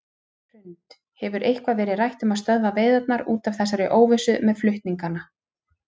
Hrund: Hefur eitthvað verið rætt um að stöðva veiðarnar út af þessari óvissu með flutningana?